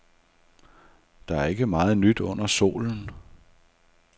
Der er ikke meget nyt under solen.